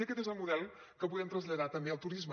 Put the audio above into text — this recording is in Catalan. i aquest és el model que podem traslladar també al turisme